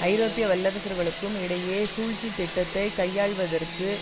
ஐரோப்பிய வல்லரசுகளுக்கும் இடையே சூழ்ச்சி திட்டத்தை கையாள்வதற்கு